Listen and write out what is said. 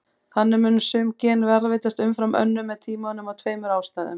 Þannig muni sum gen varðveitast umfram önnur með tímanum af tveimur ástæðum.